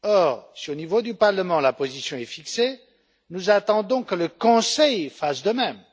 Or, si au niveau du Parlement la position est fixée, nous attendons que le Conseil fasse de même.